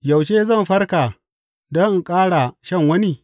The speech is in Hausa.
Yaushe zan farka don in ƙara shan wani?